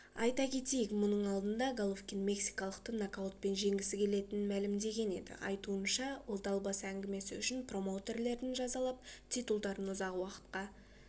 айта кетейік мұның алдында головкин мексикалықты нокаутпен жеңгісі келетінін мәлімдеген еді айтуынша ол далбаса әңгімесі үшін промоутерлерін жазалап титулдарын ұзақ уақытқа